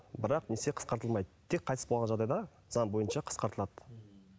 бірақ несие қысқартылмайды тек қайтыс болған жағдайда заң бойынша қысқартылады